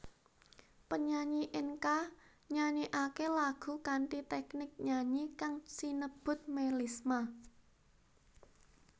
Penyanyi enka nyanyikake lagu kanthi teknik nyanyi kang sinebut melisma